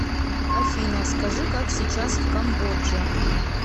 афина скажи как сейчас в камбодже